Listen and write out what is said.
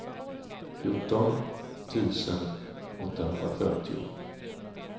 fjorton tusen åttahundrafyrtio